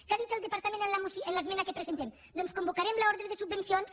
què ha dit el departament en l’esmena que presentem doncs que convocarem l’ordre de subvencions